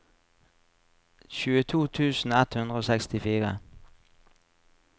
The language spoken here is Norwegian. tjueto tusen ett hundre og sekstifire